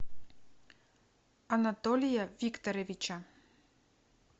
анатолия викторовича